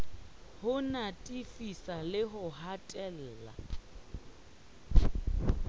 ho natefisa le ho hatella